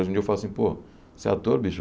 Hoje em dia eu falo assim, pô, você é ator, bicho?